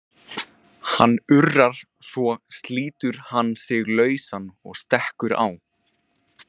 Hann urrar, svo slítur hann sig lausan og stekkur á